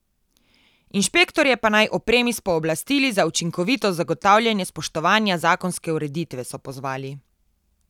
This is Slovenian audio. Inšpektorje pa naj opremi s pooblastili za učinkovito zagotavljanje spoštovanja zakonske ureditve, so pozvali.